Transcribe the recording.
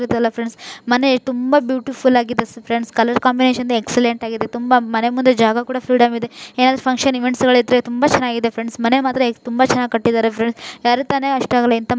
ಮನೆ ತುಂಬಾ ಬ್ಯೂಟಿಫುಲ್ಲಾಗಿದೆ ಫ್ರೆಂಡ್ ಕಲರ್ ಕಾಂಬಿನೇಶನ್ ಎಕ್ಸ್ಲ್ಲೆಂಟ್ ಆಗಿದೆ ತುಂಬ ಮನೆ ಮುಂದೆ ಜಾಗ ಕೂಡಿದೆ ಎಂದು ಕಂಡು ತುಂಬಾ ಚೆನ್ನಾಗಿದೆ. ಫ್ರೆಂಡ್ ಮನೆ ಮಾತ್ರ ತುಂಬಾ ಚೆನ್ನಾಗಿ ಕಟ್ಟಿದ್ದಾರೆ. ಯಾರಿಗ್ ತಾನೇ ಇಷ್ಟ ಆಗಲ್ಲ ಅಂತ ಮನೆಗಳ್ ಇದ್ರೆ --